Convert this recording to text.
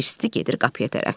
Hirsli gedir qapıya tərəf.